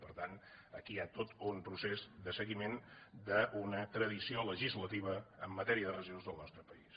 per tant aquí hi ha tot un procés de seguiment d’una tradició legisla·tiva en matèria de residus del nostre país